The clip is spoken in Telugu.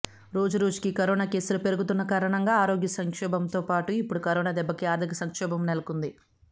రోజురోజుకీ కరోనా కేసులు పెరుగుతున్న కారణంగా ఆరోగ్య సంక్షోభంతో పాటు ఇప్పుడు కరోనా దెబ్బకు ఆర్ధిక సంక్షోభం నెలకొంది